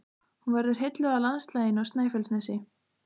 Hún verður heilluð af landslaginu á Snæfellsnesi.